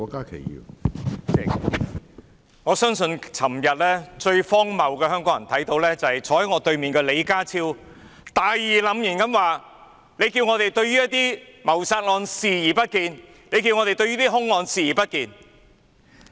主席，我相信昨天香港人看到最荒謬的事，就是坐在我對面的李家超局長大義澟然地說："難道要我們對於一些謀殺案視而不見？對一些兇案視而不見？